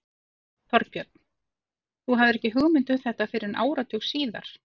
Þorbjörn: Þú hafðir ekki hugmynd um þetta fyrr en áratug síðar?